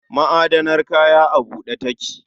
Ma'adanar kaya a bude take